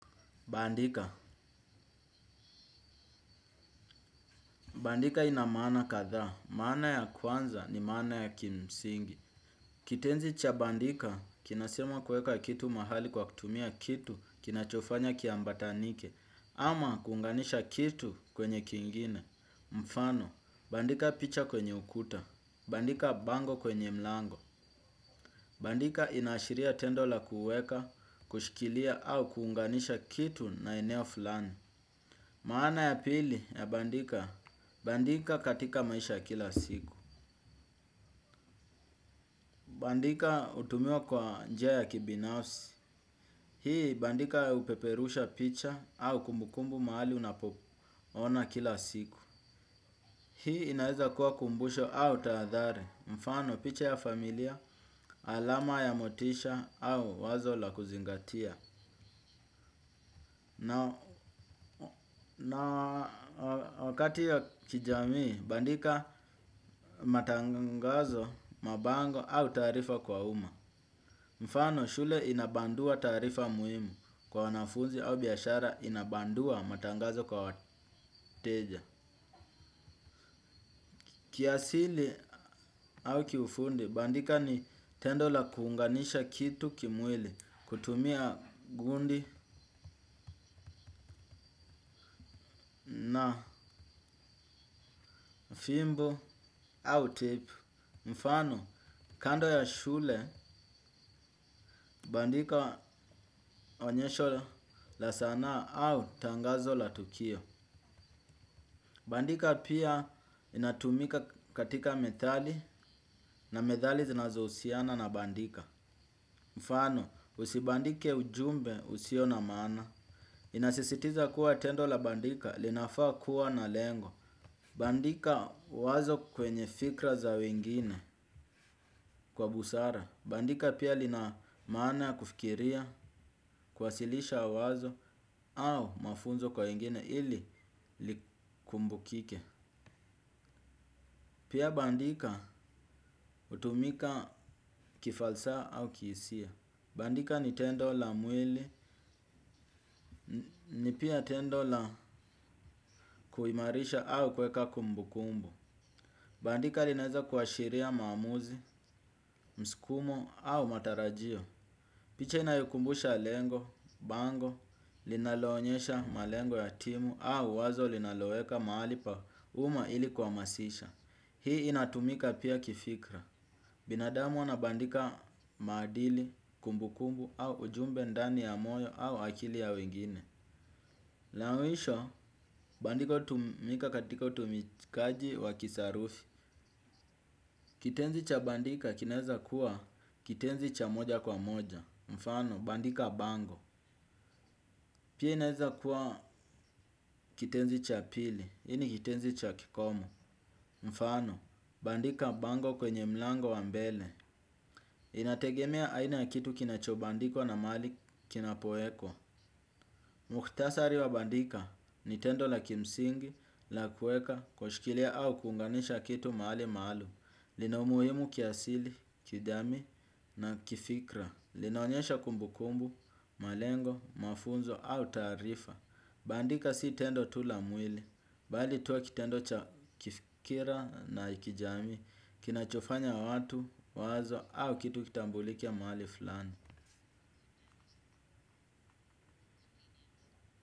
Bandika. Bandika ina maana katha. Mana ya kwanza ni mana ya kimsingi. Kitenzi cha bandika, kinasema kuweka kitu mahali kwa kutumia kitu kinachofanya kiambatanike, ama kuunganisha kitu kwenye kingine. Mfano, bandika picha kwenye ukuta. Bandika bango kwenye mlango. Bandika inashiria tendo la kuweka, kushikilia au kuunganisha kitu na eneo fulani. Maana ya pili ya bandika. Bandika katika maisha kila siku. Bandika hutumiwa kwa njia ya kibinafsi. Hii bandika upeperusha picha au kumbukumbu maali unapo ona kila siku. Hii inaeza kuwa kumbusho au taadhari mfano picha ya familia, alama ya motisha au wazo la kuzingatia. Na wakati ya kijamii bandika matangazo, mabango au taarifa kwa uma. Mfano shule inabandua taarifa muhimu kwa wanafunzi au biashara inabandua matangazo kwa wateja. Kiasili au kiufundi bandika ni tendo la kuunganisha kitu kimwili kutumia gundi, fimbo au tepu. Mfano, kando ya shule, bandika onyesho la saana au tangazo la tukio. Bandika pia inatumika katika methali na methali zinazo husiana na bandika. Mfano, usibandike ujumbe husio na maana. Inasisitiza kuwa tendo la bandika, linafaa kuwa na lengo. Bandika wazo kwenye fikra za wengine kwa busara. Bandika pia linamana kufikiria, kuasilisha wazo au mafunzo kwa wengine ili likumbukike. Pia bandika hutumika kifalsa au kihisia. Bandika ni tendo la mwili, ni pia tendo la kuimarisha au kweka kumbukumbu. Bandika linaeza kuashiria mamuzi, mskumo au matarajio. Picha inayukumbusha lengo, bango, linaloonyesha malengo ya timu au wazo linaloeka mahali pa uma ili kua masisha. Hii inatumika pia kifikra. Binadamu wanabandika maadili, kumbukumbu au ujumbe ndani ya moyo au akili ya wengine. La mwisho bandiko hutumika katika utumikaji wa kisarufi. Kitenzi cha bandika kinaeza kuwa kitenzi cha moja kwa moja. Mfano bandika bango. Pia inaeza kuwa kitenzi cha pili, hii ni kitenzi cha kikomo. Mfano, bandika bango kwenye mlango wa mbele. Inategemea aina ya kitu kinachobandikwa na mali kinapoekwao. Mukhtasari wa bandika ni tendo la kimsingi, la kueka, kushkilia au kunganisha kitu mali maalum. Lina umuhimu kiasili, kijamii na kifikra. Linaonyesha kumbukumbu, malengo, mafunzo au taarifa. Bandika si tendo tu la mwili bali tu kitendo cha kifikira na ya kijami kinachofanya watu, wazo au kitu kitambulike mahali fulani.